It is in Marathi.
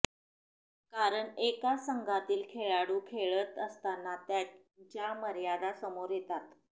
कारण एकाच संघातील खेळाडू खेळत असताना त्यांच्या मर्यादा समोर येतात